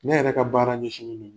Ne yɛrɛ ka baara ɲɛsinnen